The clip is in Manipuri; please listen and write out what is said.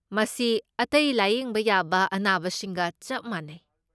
ꯃꯁꯤ ꯑꯇꯩ ꯂꯥꯌꯦꯡꯕ ꯌꯥꯕ ꯑꯅꯥꯕꯁꯤꯡꯒ ꯆꯞ ꯃꯥꯟꯅꯩ꯫